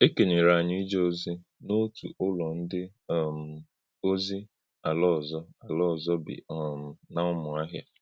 É kènyèrè ānyị̄ íjè̄ ọ̀zì̄ n’òtú ǖ́lọ̀ ǹdí̀ um òzì̄ àlá ọ̀zọ̀̀ àlá ọ̀zọ̀̀ bí um nà Umuahia.